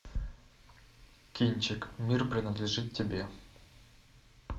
кинчик мир принадлежит тебе